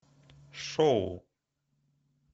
шоу